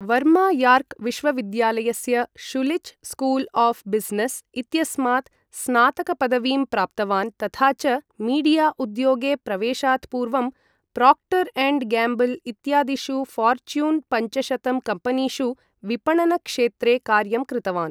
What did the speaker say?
Varma York विश्वविद्यालयस्य Schulich school of business इत्यस्मात् स्नातकपदवीं प्राप्तवान् तथा च मीडिया उद्योगे प्रवेशात् पूर्वं प्रोक्टर् एण्ड् गैम्बल् इत्यादिषु फॉर्च्यून् पञ्चशतं कम्पनीषु विपणनक्षेत्रे कार्यं कृतवान्